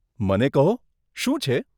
મને કહો, શું છે?